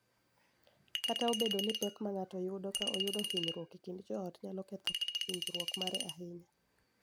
Kata obedo ni pek ma ng�ato yudo ka oyudo hinyruok e kind joot nyalo ketho winjruok mare ahinya,